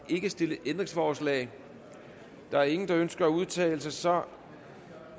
ikke stillet ændringsforslag der er ingen der ønsker at udtale sig så